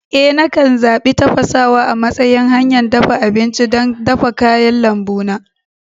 Eh, nakan zaɓi tafasawa a matsayin hanyar dafa abinci don dafa kayan lambu na.